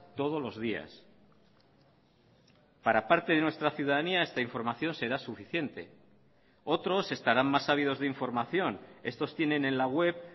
todos los días para parte de nuestra ciudadanía esta información será suficiente otros estarán más ávidos de información estos tienen en la web